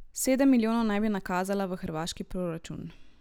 Sedem milijonov naj bi nakazala v hrvaški proračun.